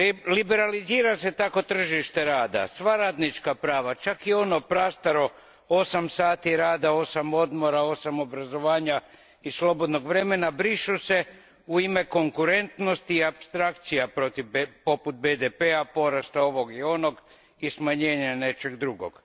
Liberalizira se tako tržište rada, sva radnička prava, čak i ono prastaro, osam sati rada, osam odmora, osam obrazovanja i slobodnog vremena brišu se u ime konkurentnosti i apstrakcija poput BDP a, porasta ovog i onog i smanjenja nečeg drugog.